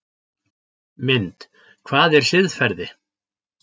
Mynd: Hvað er siðferði?